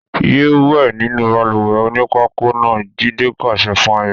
Yéé wẹ̀ nínú balùwẹ̀ onípákó náà! Jídé pàṣẹ fún Ayọ̀.